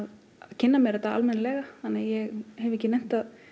kynna mér þetta almenninlega þannig að ég hef ekki nennt að